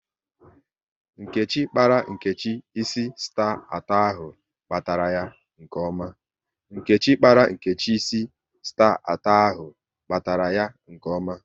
Nkechi kpara Nkechi ịsị star atọ ahụ, kpatara ya nke ome